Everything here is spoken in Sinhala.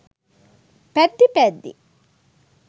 පැද්දී පැද්දී